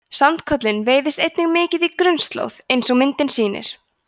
sandkolinn veiðist einnig mikið á grunnslóð eins og myndin sýnir